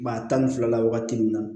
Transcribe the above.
Maa tan ni fila la wagati min na